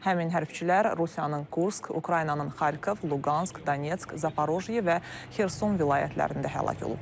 Həmin hərbçilər Rusiyanın Kursk, Ukraynanın Xarkov, Luqansk, Donetsk, Zaporojye və Xerson vilayətlərində həlak olublar.